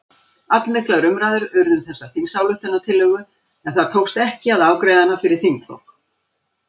Allmiklar umræður urðu um þessa þingsályktunartillögu en það tókst ekki að afgreiða hana fyrir þinglok.